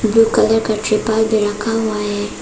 Blue colour का त्रिपाल भी रखा हुआ है।